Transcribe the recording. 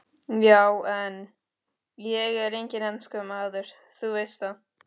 Já en. ég er enginn enskumaður, þú veist það.